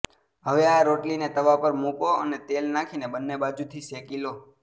હવે આ રોટલીને તવા પર મુકો અને તેલ નાખીને બન્ને બાજુથી શેકી લો